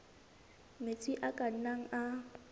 metsi a ka nnang a